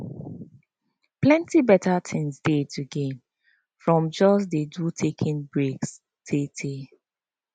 plenty better things dey to gain from just dey do taking break tey tey